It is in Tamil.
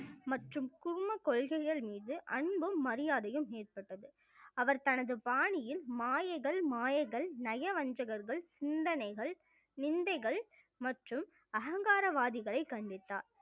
மற்றும் கூர்ம கொள்கைகள் மீது அன்பும் மரியாதையும் ஏற்பட்டது அவர் தனது பாணியில் மாயைகள் மாயைகள் நயவஞ்சகர்கள் சிந்தனைகள் நிந்தைகள் மற்றும் அகங்காரவாதிகளை கண்டித்தார்